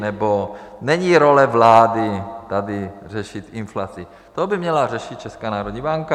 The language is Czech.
Nebo není role vlády tady řešit inflaci, to by měla řešit Česká národní banka.